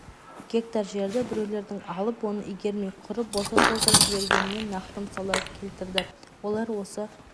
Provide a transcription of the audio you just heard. гектар жерді біреулердің алып оны игермей құры боса тоздырып жібергенінен нақты мысалдар келтірді олар осы